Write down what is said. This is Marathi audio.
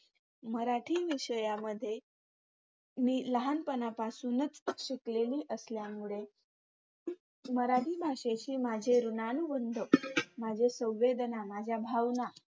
मराठी विषयामध्ये मी लहानपणापासूनच शिकलेली असल्यामुळे मराठी भाषेचे माझे रूणानुबंध, माझे संवेदना, माझ्या भावना